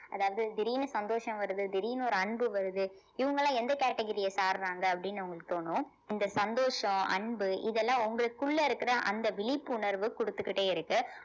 அதாவது திடீர்ன்னு சந்தோஷம் வருது திடீர்ன்னு ஒரு அன்பு வருது இவங்க எல்லாம் எந்த category அ சாறாங்க அப்படின்னு உங்களுக்கு தோணும் இந்த சந்தோஷம் அன்பு இதெல்லாம் உங்களுக்குள்ள இருக்கிற அந்த விழிப்புணர்வு கொடுத்துக்கிட்டே இருக்கு